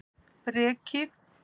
Breki